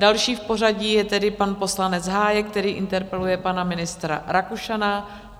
Další v pořadí je tedy pan poslanec Hájek, který interpeluje pana ministra Rakušana.